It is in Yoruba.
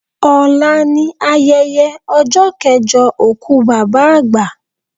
Ọlá ni ayẹyẹ ọjọ́ kẹjọ òkú Bàbá àgbà